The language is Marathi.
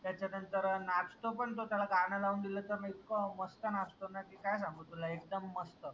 त्याच्या नंतर नाचतो पन तो त्याला गाण लावून दिल त इतका मस्त नाचतो न की काय सांगू तुला एकदम मस्त